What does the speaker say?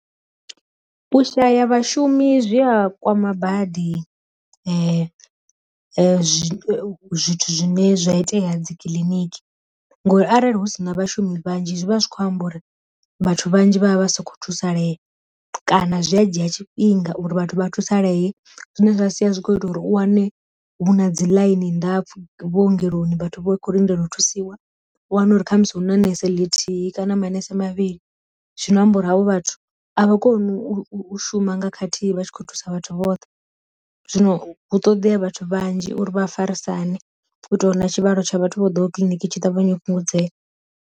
Vhu shaya vha shumi zwi a kwama badi zwithu zwine zwa itea dzi kiḽiniki, ngori arali hu si na vhashumi vhanzhi zwi vha zwi kho amba uri vhathu vhanzhi vha vha vha sokho thusalea kana zwi a dzhia tshifhinga uri vhathu vha thusalee zwine zwa sia zwi kho ita uri u wane vhu na dzi ḽaini ndapfu vhu ongeloni vhathu vho kho lindela u thusiwa, u wana uri kha musi hu na nese ḽithihi kana manese mavhili, zwino amba uri havho vhathu a vha koni u shuma nga khathihi vha tshi khou thusa vhathu vhoṱhe. Zwino hu ṱoḓea vhathu vhanzhi uri vha a farisane u itela uri na tshivhalo tsha vhathu vho ḓoho kiḽiniki tshi ṱavhanya u fhungudzea.